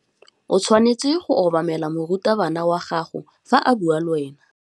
O tshwanetse go obamela morutabana wa gago fa a bua le wena.